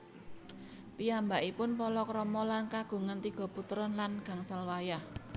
Piyambakipun palakrama lan kagungan tiga putra lan gangsal wayah